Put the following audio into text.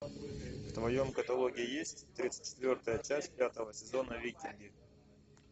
в твоем каталоге есть тридцать четвертая часть пятого сезона викинги